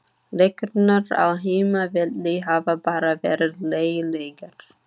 Leikirnir á heimavelli hafa bara verið lélegir.